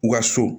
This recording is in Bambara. U ka so